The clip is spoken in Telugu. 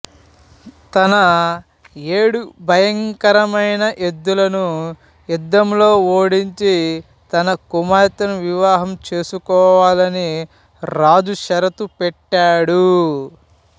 తన ఏడు భయంకరమైన ఎద్దులను యుద్ధంలో ఓడించి తన కుమార్తెను వివాహం చేసుకోవాలని రాజు షరతు పెట్టాడు